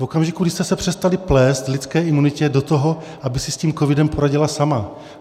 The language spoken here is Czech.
V okamžiku, kdy jste se přestali plést lidské imunitě do toho, aby si s tím covidem poradila sama.